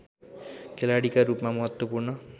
खेलाडीका रूपमा महत्त्वपूर्ण